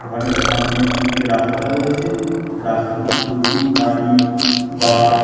ঘরের সামনের দিকে রাস্তা রয়েছে রাস্তাতে প্রচুর গাড়ি বাস --